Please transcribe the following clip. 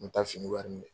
N bɛ taa fini wari minɛ